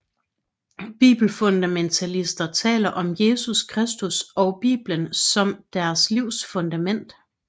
Bibelfundamentalister taler om Jesus Kristus og Bibelen som deres livs fundament